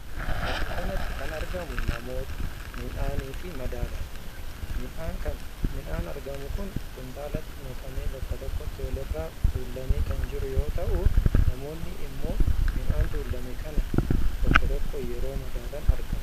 Bakka kanatti kan argamu namoota, midhaanii fi madaaladha. Midhaan argamu kun kuntaalatti naqamee bakka tokkotti walirraa tuulamee kan jiruu yoo ta’u namoonni immoo midhaan tuulame kan tokko tokkoon yeroo madaalan argama.